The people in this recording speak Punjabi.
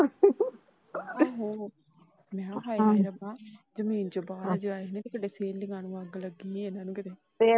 ਮੈ ਕਿਹਾ ਹਾਏ ਰੱਬਾ ਲੱਗੀ ਏ।